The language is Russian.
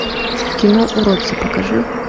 кино уродцы покажи